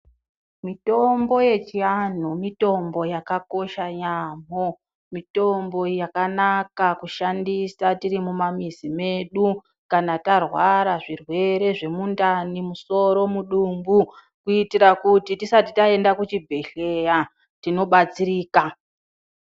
Mitombo yechiantu mitombo yakakosha yaamho, mitombo yakanaka kushandisa tiri mumamizi medu kana tarwara zvirwere zvemundani, musoro, mudumbu kuitira kuti tisati taenda kuchibhedhlera tino batsirika.